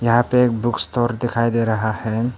यहां पे एक बुक स्टोर दिखाई दे रहा है।